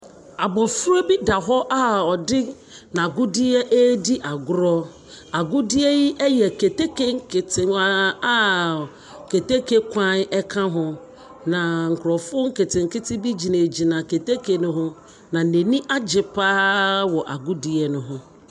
Abɔfra bi da hɔ a ɔde n’agodeɛ ɛredi agorɔ. Agodeɛ yi ɛyɛ keteke nketewa a keteke kwan ɛka ho. Na nkorɔfoɔ nketenkete bi gyinagyina keteke no ho, na n’ani agye pa ara wɔ agodie no ho.